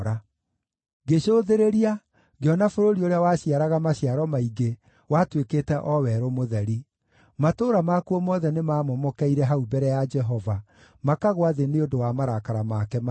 Ngĩcũthĩrĩria, ngĩona bũrũri ũrĩa waciaraga maciaro maingĩ, watuĩkĩte o werũ mũtheri, matũũra makuo mothe nĩmamomokeire hau mbere ya Jehova, makagũa thĩ nĩ ũndũ wa marakara make mahiũ.